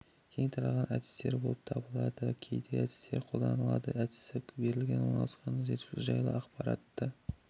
кең тараған әдістер пен болып табылады кейде әдістері де қолданылады әдісі берілген орналасқан ресурс жайлы ақпаратты